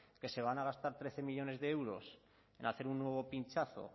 que se van a gastar trece millónes de euros en hacer un nuevo pinchazo